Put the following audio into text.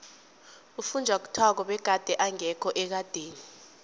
ufunjathwako begade engekho ekadeni